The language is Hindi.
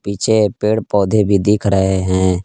पीछे पेड़ पौधे भी दिख रहे हैं।